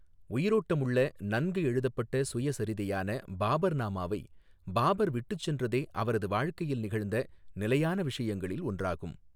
உயிரோட்டமுள்ள, நன்கு எழுதப்பட்ட சுயசரிதையான பாபர்நாமாவை பாபர் விட்டுச் சென்றதே அவரது வாழ்க்கையில் நிகழ்ந்த நிலையான விஷயங்களில் ஒன்றாகும்.